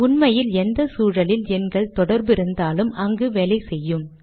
உண்மையில் எந்த சூழலில் எண்கள் தொடர்பு இருந்தாலும் அங்கு வேலை செய்யும்